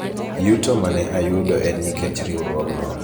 yuto mane ayudo en nikech riwruogno